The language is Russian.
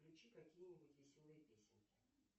включи какие нибудь веселые песенки